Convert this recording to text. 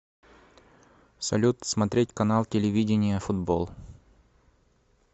салют смотреть канал телевидения футбол